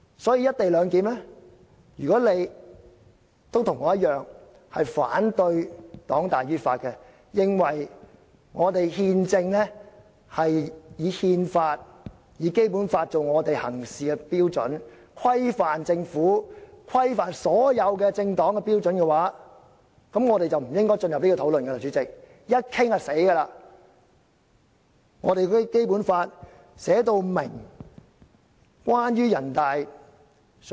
所以，如果你與我同樣反對黨大於法，認為憲政是以憲法、《基本法》作為行事標準來規範政府及所有政黨的標準，就不應該就《條例草案》進行二讀，否則後果不堪設想。